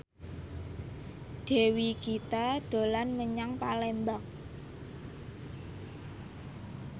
Dewi Gita dolan menyang Palembang